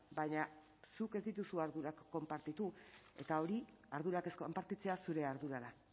baina zuk ez dituzu ardurak konpartitu eta hori ardurak ez konpartitzea zure ardura da